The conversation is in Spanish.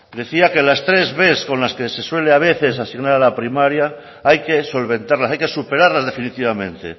decía que las tres bs con las se suele a veces asignar a la primaria hay que solventarlas hay que superarlas definitivamente